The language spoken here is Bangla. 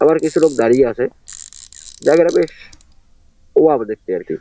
আবার কিছু লোক দাড়িয়ে আছে । জায়গাটা বেশ ওয়াও দেখতে আরকি ।